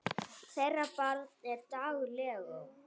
Þeirra barn er Dagur Leó.